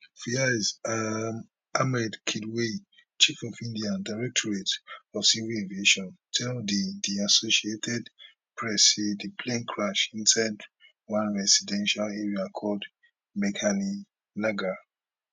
faiz um ahmed kidwai chief of india directorate of civil aviation tell di di associated press say di plane crash inside one residential area called meghani nagar